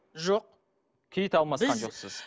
жоқ кит алмасқан жоқсыз